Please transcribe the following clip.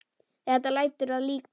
Þetta lætur að líkum.